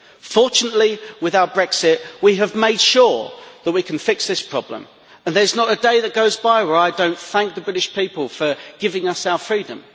Fortunately, with our Brexit, we have made sure that we can fix this problem and there is not a day that goes by when I do not thank the British people for giving us our freedom.